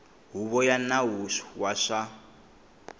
huvo ya nawu wa swa